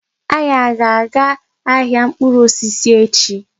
Anyi a ga-aga ahịa mkpụrụ osisi echi?